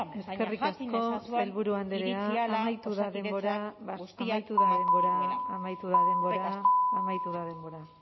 eskerrik asko sailburu andrea amaitu da denbora amaitu da denbora baina jakin dezazuen iritsi ahala osakidetzak guztiak dituela eskerrik asko amaitu da denbora amaitu da denbora